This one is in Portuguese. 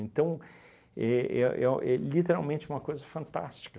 Então, é é é o é literalmente uma coisa fantástica.